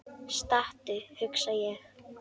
Stattu, hugsa ég.